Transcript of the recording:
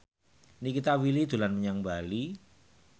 Nikita Willy dolan menyang Bali